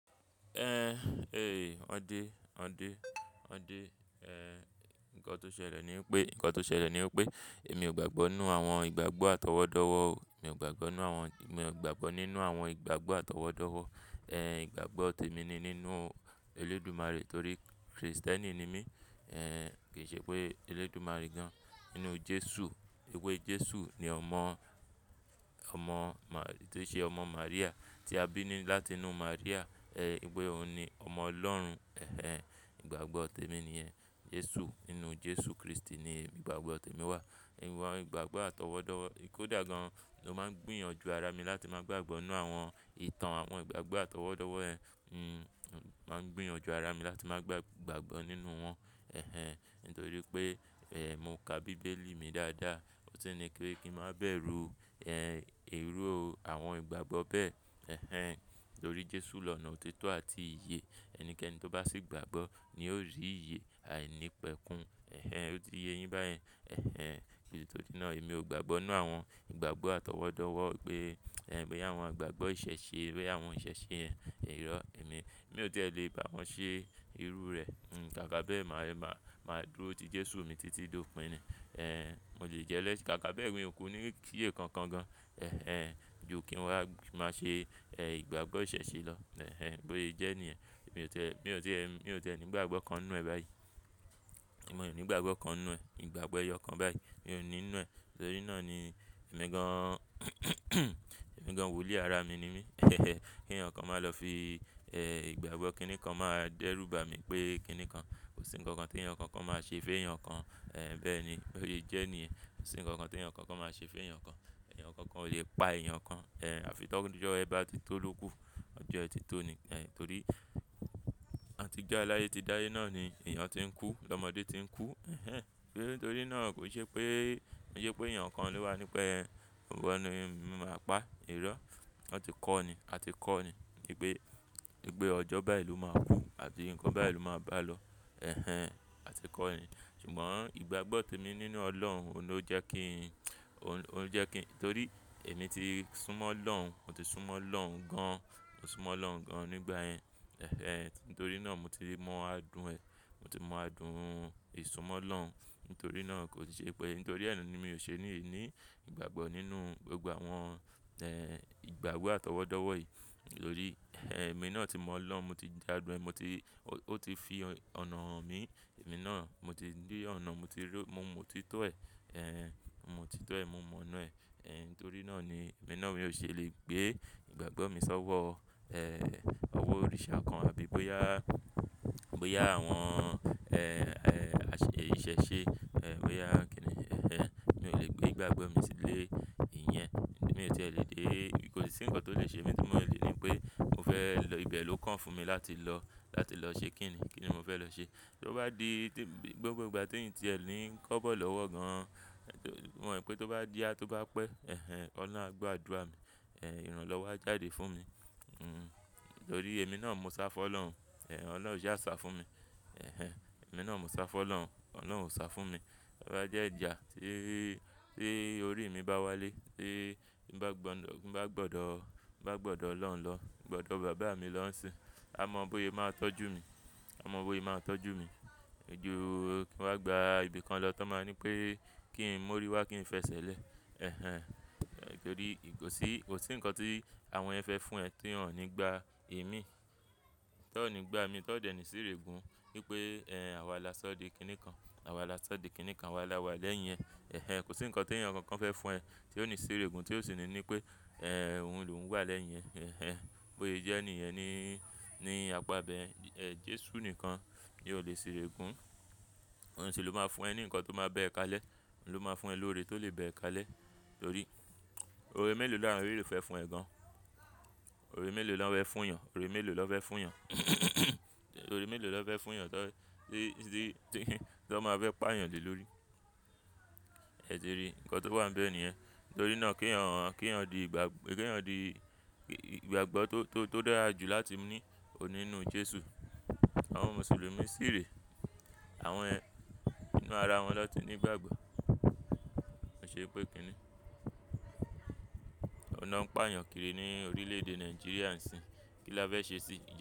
Wọn dẹ, wọn dẹ, wọn dẹ, nǹkan tó ṣẹlẹ̀ ni pé, nǹkan tó ṣẹlẹ̀ ni pé èmi ò gbàgbọ́ nínú àwọn ìgbàgbọ́ àtọwọ́dọ́wọ́. Èmi ò gbàgbọ́ nínú àwọn ìgbàgbọ́ àtọwọ́dọ́wọ́. Ìgbàgbọ́ tèmi ni nínú Olódùmarè torí Kristẹni ni mí. Kì í ṣe pé Olódùmarè gan-an nínú Jesu. Èwe Jesu ni ọmọ, ọmọ Mà tó ṣe ọmọ Maríà, tí a bí ní láti inú Maríà. É pé òun ni ọmọ Ọlọ́run. Ìgbàgbọ́ tèmi nìyẹn, Jesu. Nínú Jesu Kristi ni ìgbàgbọ́ tèmi wà. Ìwa ìgbàgbọ́ àtọwọ́dọ́wọ́, kò dà gan-an, mó máa ń gbìyànjú ara mi láti máa gbàgbọ́ nínú àwọn ìtàn àwọn ìgbàgbọ́ àtọwọ́dọ́wọ́ yẹn. Máa ń gbìyànjú ara mi láti máa gbàgbọ́ nínú wọn. Nítorí pé, mo ka bíbélì mi dáadáa. Ó ti ní pe kí maa wá bẹ̀ru, irú àwọn ìgbàgbọ́ bẹ́ẹ̀. Torí Jesu lọ̀nà òtítọ́ àti iye. Ẹnikẹ́ni tó bá sì gbàagbọ́ ni yóò rí iye àìnípẹ̀kun. Ó ti ye yín báyẹn? Nítorí náà èmi ò gbàgbọ́ nínú àwọn ìgbàgbọ́ àtọwọ́dọ́wọ́ pé, boya àwọn ìgbàgbọ́ ìṣẹ̀ṣe, boya àwọn ìṣẹ̀ṣe yẹn irọ́ e mi. Èmi ò tí è lè bà wọ́n ṣe irú rẹ̀. Kàkà beẹ măa, máa dúró ti Jesu mi títí dópín ni. Mo lè jẹ́lẹ́, kàkà beẹ mii ò kú ní í ṣe kankan gan. Ju kí n wá máa ṣe, ìgbàgbọ́ ìṣẹ̀ṣe lọ. Bóye jẹ́ èniyẹn. Mi ò tiẹ́, mi ò tiẹ́, mi ò tiẹ́ ni ìgbàgbọ́ kan nnù ẹ báyìí. Èmi ò ní ìgbàgbọ́ kan nù ẹ, ìgbàgbọ́ ẹyọ kan báyìí. Èmi ò ní nnù ẹ. Nítorí náà ni ẹ̀mi gan-an, ẹ̀mi gan-an wòlíì ara mi ni mí, kèyàn kan máa lọ fi, ìgbàgbọ́ kíni kan máa dẹ́rù bà mí pé kíni kan. Kò sí ǹkankan t'ènìyàn kankan máa ṣe f'ènìyàn kan. Bẹ́ẹ̀ ni, bóse jẹ́ niyẹn. Kò sí ǹkankan t'ènìyàn kankan máa ṣe f'ènìyàn kan. Eyàn kankan ò lè pa èyàn kan. Àfi tọ́jo ẹ bá ti tó ló kú. Ọjọ́ ẹ ti tó ni. Torí àtijọ́ aláyé ti dáyé náà ni èèyàn ti ń kú, l'ọmọdé ti ń kú, nítorí náà kò n ṣe pé, kò n ṣe pé èyàn kan lo wà ní pẹ́ o wa ni, mo máa pa e, irọ́. Wọ́n ti kọ́ ni, a ti kọ́ ni ipé, ipé ọjọ́ báyìí ló máa kú àti ǹnkan báyìí ló máa bá lọ. A ti kọ́ ni. Ṣùgbọ́n ìgbàgbọ́ tèmi nínú Ọlọ́run òún ló jẹ́ kí n, òún jẹ́ kí n-- torí èmi ti súnmọ́ Ọlọ́un, mo ti súnmọ́ Ọlọ́un gan-an, mo súnmọ́ Ọlọ́run gan-an nígbà yẹn. Nítorí náà mo ti mọ àádún ẹ. Mo ti mọ àádùn ìsunmọ́ Ọlọ́un. Ntorí náà kò ṣe pé, nítorí ẹ ni mi ò ṣe ni mii ní ìgbàgbọ́ nínú gbogbo àwọn, ìgbàgbọ́ àtọwọ́dọ́wọ́ yìí. Nítorí, èmi náà ti mọ Ọlọ́un, mo ti jádun e, mo ti, ó ti fi ọ̀nà hàn mí. Èmi náà mo ti rí ọ̀nà, mo ti rí, mo mọ òtítọ́ ẹ. Mo mọ òtítọ́ ẹ, mo mọ̀ ona ẹ. Ntorí náà ni èmi náà mi ò ṣe lè gbée ìgbàgbọ́ mi sọ́wọ́, owo òrìṣà kan àbí bóyá, bóyá àwọn, àṣẹ, ìṣẹ̀ṣe, bóyá kíni. Mi ò lè gbé ìgbàgbọ́ mi sílé ìyẹn. Mi ò tí è lè dé, kò sí ǹnkan tó lè ṣe mí tí mo lè ní pé mo fẹ́ lọ ibẹ̀ ló kàn fún mi láti lọ, láti lọ ṣe kíni. Kí ni mo fẹ́ lọ ṣe? Tó bá di tí, gbogbo ìgbà tín ti ẹ̀ ńi kọ́bọ̀ lọ́wọ́ gan-an, mo mọ̀ pé tó bá ya tó bá pẹ́, Ọlọ́un á gbọ́ àdúà mi. Ìran lọ́wọ́ jáde fún mi. Torí èmi náà mo sá fọ́ Ọlọ́un. Ọlọ́un ò sá sa fún mi. Ẹ̀hẹn, èmi náà mo sá fọ́ Ọlọ́run, Ọlọ́run ò sá fún mi. Ó bá jẹ́ ìjà tí, tí orí mi bá wálé, tí mbá gbọdọ̀, ti mbá gbọdọ̀, mbá gbọdọ̀ Ọlọ́un lọ, gbọdọ̀ bàbá mi lọ́ ń ṣin, a mọ̀ bó'e máa tọ́jú mi. A mọ̀ bóye máa tọ́jú mi. Ju kí n wá gba ibi kan lọ ton máa ní pé kí n mórí wá, kí n fẹsẹ̀ e lẹ̀. Torí ì kò sí, kò sí ǹnkan tí àwọn yen fẹ́ fún ẹ tí wọn ò ní gbá èémí. T'on ò ní gbá mi, t'ọ́n o dẹ̀ ní sìrẹ̀gùn, wí pé, àwa là sọ́ di kíni kan. Àwa là sọ́ di kíni kan, àwa là wà lẹ́yìn ẹ. Kò sí ǹkan tèyàn kankan fẹ́ fún ẹ tí ò ní sìrẹ̀gùn tí ò sì ní ní pé, òun ló uń wà lẹ́yìn ẹ. Bóye jẹ́ niyẹn ni, ní apá a bẹ yen Jesu nìkan ni ó lè sirẹ̀gùn. Ọ̀un si ló máa fún ẹ ní ǹnkan tó máa bẹ ẹ kalẹ̀. Ọ̀un ló máa fún ẹ lórí tó lè bẹ ẹ kalẹ̀. Torí, ore mélòó là won eleyi fẹ́ fún ẹ gan-an? Ore mélòó lo fẹ́ fún yàn? Ore mélòó ló fẹ́ fún yàn? Ore mélòó ló fẹ́ fúnyàn tó, tí, tí, tí t'ón máa fẹ pá yàn le lórí? Ẹ ti ríi ǹnkan tó wà ń bẹ ni yen. Nítorí náà keyàn, kí èyàn di ìgbàgbọ́, kí èyàn di ìgbàgbọ́ tó, tó, tó dára jù láti ni òun ní nnú Jesu. Àwọn Mùsùlùmí sì rè àwọn yẹn ínú ara wọn n'o ti ní ìgbàgbọ́. Ó ṣe pé kíni? Ọ̀un n'o ń pa èyàn kiri ní orílẹ̀-èdè Nàìjíríà ń sin. Kí la fẹ́ ṣe sì?